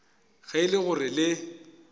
ge e le gore le